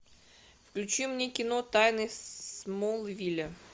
включи мне кино тайны смолвиля